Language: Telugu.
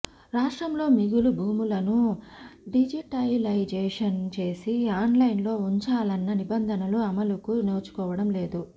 రాష్ట్రంలోమిగులు భూములను డిజిటలైజేషన్ చేసి ఆన్లైన్లో ఉంచాలన్న నిబంధనలు అమలుకు నోచుకోవడం లేదు